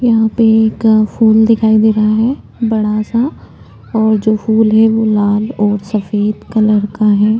यहाँ पे एक फूल दिखाई दे रहा है बड़ा सा और जो फूल है वो लाल और सफ़ेद कलर है।